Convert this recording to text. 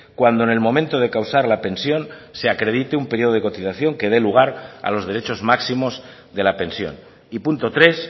cuando en el momento de causar la pensión se acredite un periodo de cotización que dé lugar a los derechos máximos de la pensión y punto tres